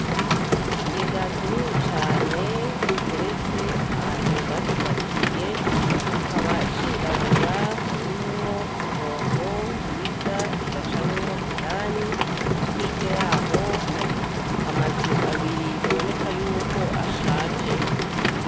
Ikigega kinini cane giteretse ahantu bacubakiye kikaba cirabura, harimwo ibombo riza rigacamwo indani. Hirya yaho ari amazu abiri biboneka ko ashaje.